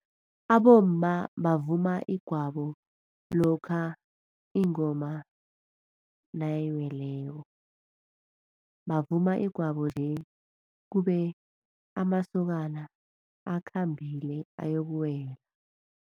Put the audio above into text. Abomma bavuma igwabo lokha ingoma nayiweleko, bavuma igwabo nje kube amasokana akhambile ayokuwela.